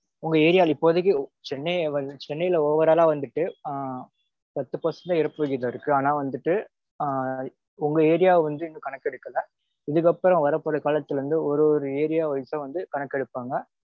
உங்க area ல இப்போதைக்கு சென்னை சென்னைல overall ஆ வந்துட்டு ஆ பத்து percent தா இறப்பு விகிதம் இருக்கு. ஆனா வந்துட்டு உங்க area வந்துட்டு கணக்கெடுக்கல. இதுக்கப்பறம் வரப்போற காலத்துல வந்து ஒவ்வொரு area wise ஆ வந்து கணக்கெடுப்பாங்க